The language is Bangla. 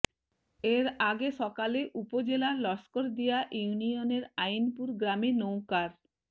এর আগে সকালে উপজেলার লস্করদিয়া ইউনিয়নের আইনপুর গ্রামে নৌকার